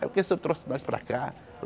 Ah, por que você trouxe nós para cá?